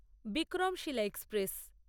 Vikramshila express